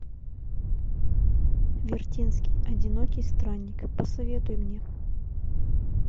вертинский одинокий странник посоветуй мне